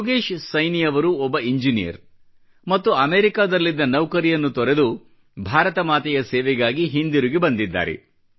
ಯೋಗೇಶ್ ಸೈನಿ ಅವರು ಒಬ್ಬ ಇಂಜಿನಿಯರ್ ಮತ್ತು ಅಮೆರಿಕಾದಲ್ಲಿದ್ದ ನೌಕರಿಯನ್ನು ತೊರೆದು ಭಾರತ ಮಾತೆಯ ಸೇವೆಗಾಗಿ ಹಿಂತಿರುಗಿ ಬಂದಿದ್ದಾರೆ